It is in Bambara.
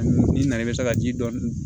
N'i na na i bɛ se ka ji dɔɔni